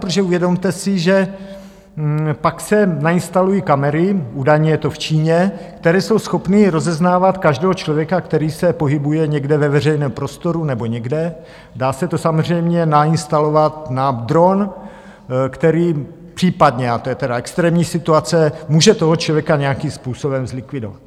Protože uvědomte si, že pak se nainstalují kamery, údajně je to v Číně, které jsou schopny rozeznávat každého člověka, který se pohybuje někde ve veřejném prostoru nebo někde, dá se to samozřejmě nainstalovat na dron, který případně, a to je tedy extrémní situace, může toho člověka nějakým způsobem zlikvidovat.